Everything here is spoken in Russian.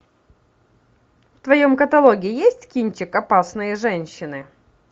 в твоем каталоге есть кинчик опасные женщины